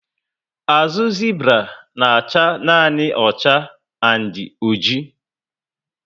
Ahụ Zibra na acha nanị ocha and oji